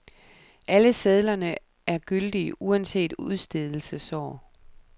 Alle sedlerne er gyldige, uanset udstedelsesår.